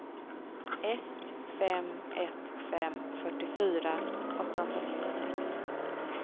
ett fem ett fem fyrtiofyra åttahundranittiosex